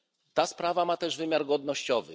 Ta sprawa ma też wymiar godnościowy.